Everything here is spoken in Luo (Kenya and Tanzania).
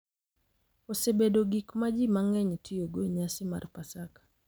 Osebedo gik ma ji mang’eny tiyogo e nyasi mar Paska, .